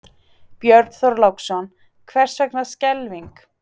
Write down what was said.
Björn Þorláksson: Hvers vegna skelfing?